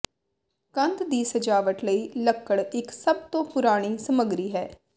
ਕੰਧ ਦੀ ਸਜਾਵਟ ਲਈ ਲੱਕੜ ਇਕ ਸਭ ਤੋਂ ਪੁਰਾਣੀ ਸਮੱਗਰੀ ਹੈ